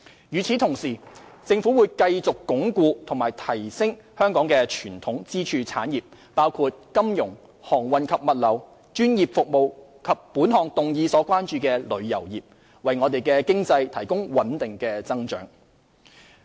與此同時，政府會繼續鞏固和提升香港的傳統支柱產業，包括金融、航運及物流、專業服務及本項議案所關注的旅遊業，為我們的經濟提供穩定的增長。